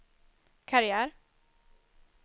karriär